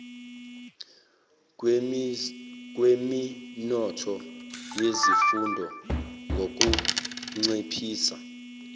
kweminotho yezifunda ngukunciphisa